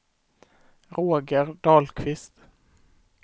Roger Dahlqvist